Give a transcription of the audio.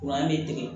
an bɛ tigɛ